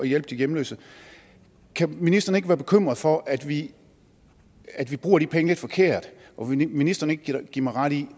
hjælpe de hjemløse kan ministeren ikke være bekymret for at vi at vi bruger de penge lidt forkert og vil ministeren ikke give mig ret i